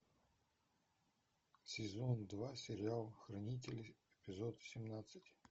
сезон два сериал хранители эпизод семнадцать